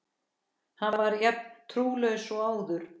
Hann var jafn trúlaus og áður.